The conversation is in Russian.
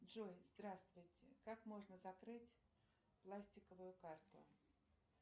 джой здравствуйте как можно закрыть пластиковую карту